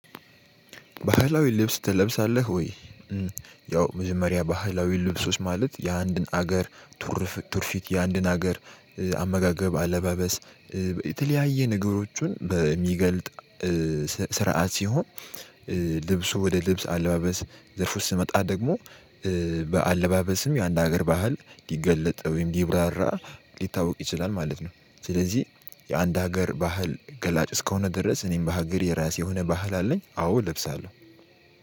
ባህላዊ ልብስ ትለብሳለህ ወይ? የው መጀመሪያ ባህላዊ ልብሶች ማለት የአንድን አገር ቱርፍት የአንድን አገር አመጋገብ አለባበስ የተለያየ ነገሮቹን በምገልጥ ስርዓት ስሆን። ልብሱ ወደ ልብስ አለባበስ ዘርፎች ስመጣ ደግሞ በአለባበስም የአንድ ሀገር ባህል ሊገለጥ ወይም ሊብራራ ሊታወቅ ይችላል ማለት ነው። ስለዚህ የአንድ ሀገር ባህል ገላጭ እስከሆነ ድረስ እኔም በሀገር የራሴ የሆነ ባህል አለኝ አዎ እለብሳለሁ።